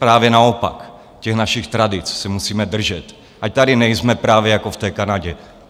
Právě naopak, těch našich tradic se musíme držet, ať tady nejsme právě jako v té Kanadě.